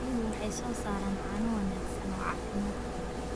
Riyuhu waxay soo saaraan caano wanaagsan oo caafimaad qaba.